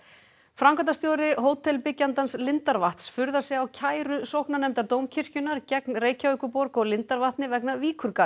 framkvæmdastjóri lindarvatns furðar sig á kæru sóknarnefndar Dómkirkjunnar gegn Reykjavíkurborg og lindarvatni vegna